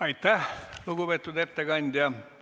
Aitäh, lugupeetud ettekandja!